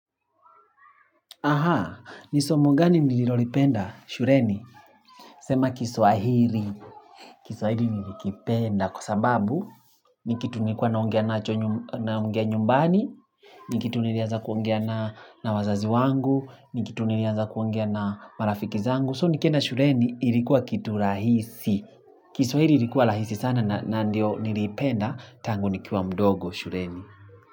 Aha, ni somo gani nililolipenda shuleni? Sema kiswahili, kiswahili nilikipenda kwa sababu Nikitu nilikuwa naongea nacho naongea nyumbani ni kitu nilianza kuongea na wazazi wangu ni kitu nilianza kuongea na marafiki zangu So nikienda shuleni ilikuwa kitu rahisi kiswahili ilikuwa rahisi sana na ndio niliipenda tangu nikiwa mdogo shuleni.